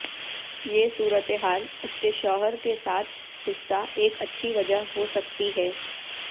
یہ صورت حال اس کے شوہر کے ساتھ حصہ ایک اچھا وجہ ہو سکتی ہے